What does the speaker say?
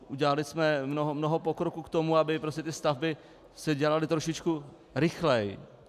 Udělali jsme mnoho pokroku k tomu, aby ty stavby se dělaly trošičku rychleji.